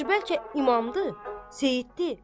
Yaxşı, bəlkə imamdır, seyiddir?